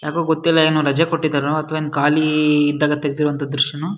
ಯಾಕೋ ಗೊತ್ತಿಲ್ಲ ಏನೋ ರಜೆ ಕೊಟ್ಟಿದ್ದಾರೆ ಅಥವಾ ಏನೋ ಖಾಲಿ ಇದ್ದಾಗ ತೆಗ್ದಿರೋ ದ್ರಶ್ಯನೋ --